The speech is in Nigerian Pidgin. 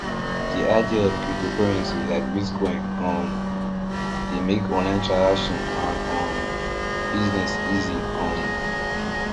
the idea of cryptocurrency like bitcoin um dey make online transaction and um business easy um